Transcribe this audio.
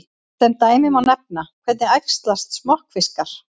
Sem dæmi má nefna: Hvernig æxlast smokkfiskar?